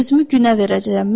Özümü günə verəcəyəm.